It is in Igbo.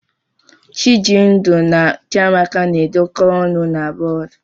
Chijindu na Chiamaka na-edekọ ọnụ na bọọdụ.